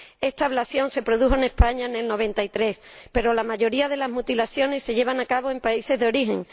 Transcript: Esta ablación se produjo en España en 1993, pero la mayoría de las mutilaciones se llevan a cabo en países de origen